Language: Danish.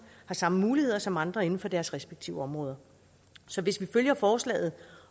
har samme muligheder som andre inden for deres respektive områder så hvis vi følger forslaget